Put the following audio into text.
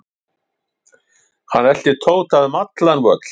Hann elti Tóta um allan völl.